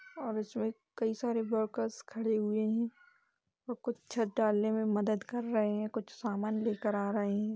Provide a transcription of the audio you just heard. और उसमें कई सारे वर्कर्स खड़े हुए हैं और कुछ छत डालने में मदद कर रहें हैं कुछ समान लेके आ रहें हैं।